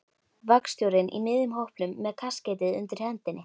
Vagnstjórinn í miðjum hópnum með kaskeitið undir hendinni.